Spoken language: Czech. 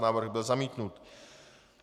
Návrh byl zamítnut.